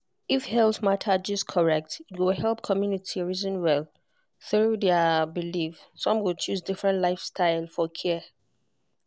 if health matter gist correct e go help community reason well through their belief some go choose different style for care.